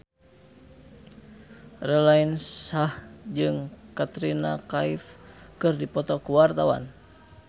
Raline Shah jeung Katrina Kaif keur dipoto ku wartawan